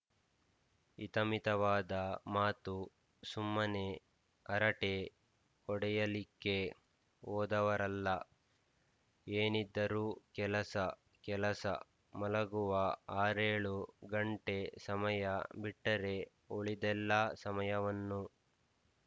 ಹಿತಮಿತವಾದ ಮಾತು ಸುಮ್ಮನೆ ಹರಟೆ ಹೊಡೆಯಲಿಕ್ಕೆ ಹೋದವರಲ್ಲ ಏನಿದ್ದರೂ ಕೆಲಸ ಕೆಲಸ ಮಲಗುವ ಆರೇಳು ಗಂಟೆ ಸಮಯ ಬಿಟ್ಟರೆ ಉಳಿದೆಲ್ಲ ಸಮಯವನ್ನು